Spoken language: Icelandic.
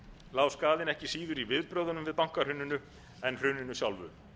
lá skaðinn ekki síður í viðbrögðunum við bankahruninu en hruninu sjálfu